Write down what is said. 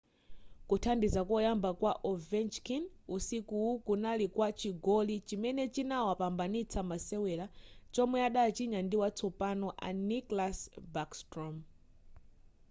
kuthandiza koyamba kwa ovechkin usikuwu kunali kwa chigoli chimene chinawapambanitsa masewera chomwe adachinya ndi watsopano a nicklas backstrom